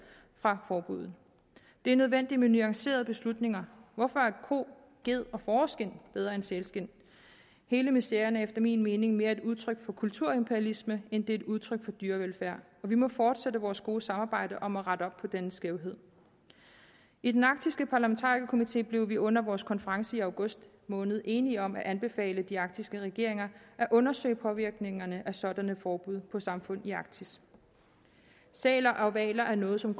fra forbuddet det er nødvendigt med nuancerede beslutninger hvorfor er ko gede og fåreskind bedre end sælskind hele miseren er efter min mening mere et udtryk for kulturimperialisme end det er et udtryk for dyrevelfærd og vi må fortsætte vores gode samarbejde om at rette op på denne skævhed i den arktiske parlamentarikerkomité blev vi under vores konference i august måned enige om at anbefale de arktiske regeringer at undersøge påvirkningerne af sådanne forbud på samfund i arktis sæler og hvaler er noget som